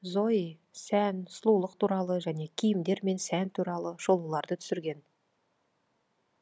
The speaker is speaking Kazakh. зои сән сұлыулық туралы және киімдер мен сән туралы шолуларды түсірген